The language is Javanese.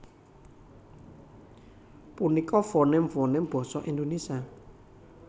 Punika fonèm fonèm basa Indonésia